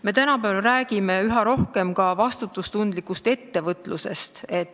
Me räägime tänapäeval üha rohkem ka vastutustundlikust ettevõtlusest.